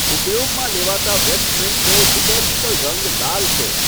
ઉપયોગમાં લેવાતા વેસ્ટમેન્ટનો લીટર્જિકલ રંગ લાલ છે.